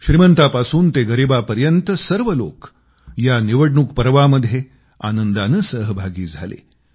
श्रीमंतापासून गरीबापर्यंत सर्व लोक या निवडणूक पर्वामध्ये आनंदानं सहभागी झाले